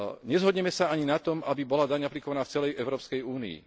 Nezhodneme sa ani na tom, aby bola daň aplikovaná v celej Európskej únii.